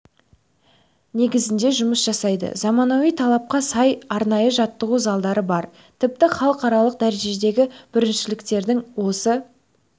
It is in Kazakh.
негізінде жұмыс жасайды заманауи талапқа сай арнайы жаттығу залдары бар тіпті халықаралық дәрежедегі біріншіліктерді осы